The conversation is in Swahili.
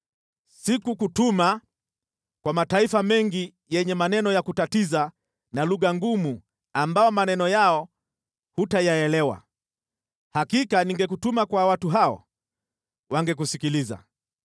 Sikukutuma kwa mataifa mengi yenye maneno ya kutatiza na lugha ngumu ambao maneno yao hutayaelewa. Hakika ningekutuma kwa watu hao, wangekusikiliza.